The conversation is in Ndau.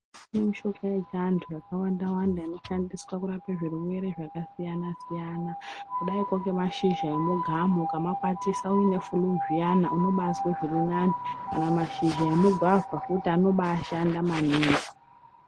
Kune mushonga yechiantu yakawanda wanda inoshandiswa kurapa zvirwere zvakasiyana siyana kudaikwo ngemashizha emugamu ukamakwatisa uine fuluu zviyani unobazwe zviri nane kana mashizha emugwavha futi anobashanda maningi.